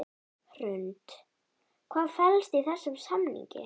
Hrund: Hvað felst í þessum samningi?